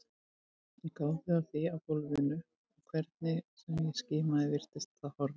Ég gáði að því á gólfinu og hvernig sem ég skimaði virtist það horfið.